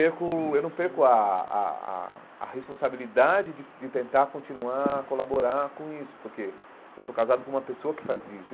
Eu não perco eu não perco a a a a responsabilidade de de tentar continuar, colaborar com isso, porque eu sou casado com uma pessoa que faz isso.